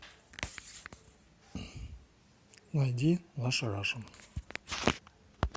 найди наша раша